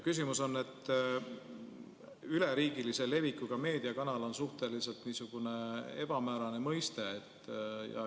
" Küsimus on selle kohta, et "üleriigilise levikuga meediakanal" on suhteliselt ebamäärane mõiste.